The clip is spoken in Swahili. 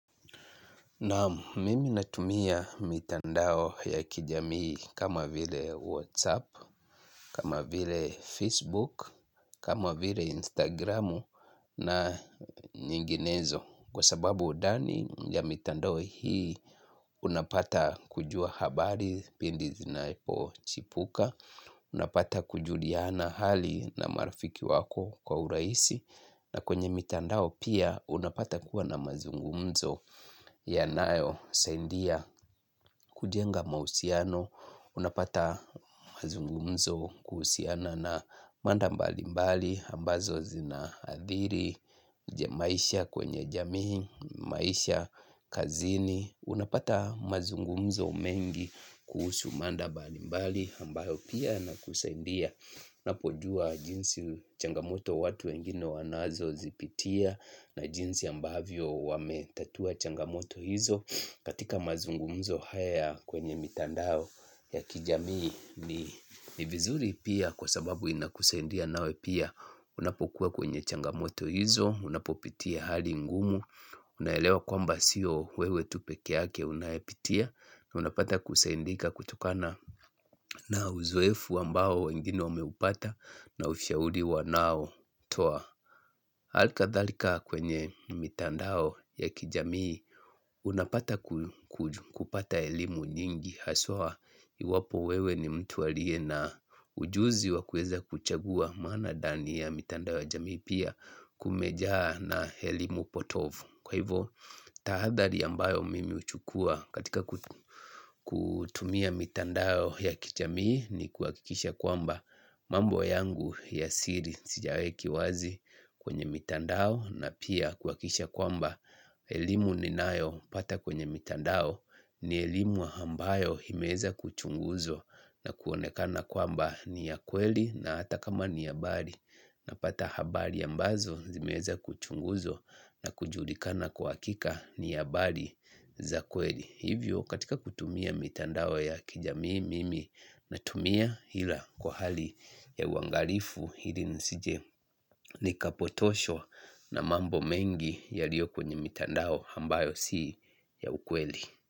Naam mimi natumia mitandao ya kijamii kama vile Whatsapp, kama vile Facebook, kama vile Instagramu na nyinginezo kwa sababu ndani ya mitandao hii unapata kujua habari pindi zinaipochipuka, unapata kujuliana hali na marafiki wako kwa urahisi na kwenye mitandao pia unapata kuwa na mazungumzo yanayo saidia kujenga mahusiano unapata mazungumzo kuhusiana na mada mbali mbali ambazo zinaadhiri maisha kwenye jamii, maisha kazini unapata mazungumzo mengi kuhusu mada mbali mbali ambayo pia inakusaidia unapojua jinsi changamoto watu wengine wanazozipitia na jinsi ambavyo wametatua changamoto hizo katika mazungumzo haya kwenye mitandao ya kijamii ni vizuri pia kwa sababu inakusaidia nawe pia unapokuwa kwenye changamoto hizo unapopitia hali ngumu unaelewa kwamba sio wewe tu pekee yake unayepitia unapata kusaidika kutokana na uzoefu ambao wengine wameupata na ushauri wanaotoa alikadhalika kwenye mitandao ya kijamii unapata kupata elimu nyingi haswa iwapo wewe ni mtu aliye na ujuzi wa kuweza kuchagua maana ndani ya mitandao ya jamii pia kumejaa na elimu potovu kwa hivyo, tahadhari ambayo mimi uchukua katika kutumia mitandao ya kijamii ni kuhakikisha kwamba mambo yangu ya siri siyaweki wazi kwenye mitandao na pia kuakikisha kwamba elimu ninayopata kwenye mitandao ni elimu ambayo imeweza kuchunguzwa na kuonekana kwamba ni ya kweli na hata kama ni ya mbali napata habari ambazo zimeweza kuchunguzwa na kujulikana kwa hakika ni habari za kweli hivyo katika kutumia mitandao ya kijamii mimi natumia ila kwa hali ya uangalifu ili nisije nikapotoshwa na mambo mengi yaliokwenye mitandao ambayo si ya ukweli.